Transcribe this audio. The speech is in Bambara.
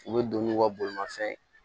U bɛ don n'u ka bolimanfɛn ye